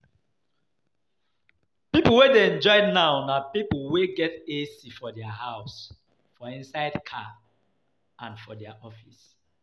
People wey dey enjoy now na people wey get AC for dia house, for inside car and for dia office